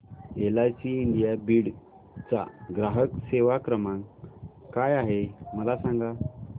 LIC India Beed चा ग्राहक सेवा क्रमांक काय आहे मला सांग